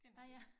Ah ja